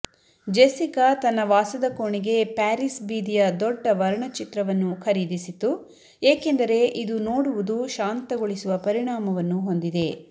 Jessica ತನ್ನ ವಾಸದ ಕೋಣೆಗೆ ಪ್ಯಾರಿಸ್ ಬೀದಿಯ ದೊಡ್ಡ ವರ್ಣಚಿತ್ರವನ್ನು ಖರೀದಿಸಿತು ಏಕೆಂದರೆ ಇದು ನೋಡುವುದು ಶಾಂತಗೊಳಿಸುವ ಪರಿಣಾಮವನ್ನು ಹೊಂದಿದೆ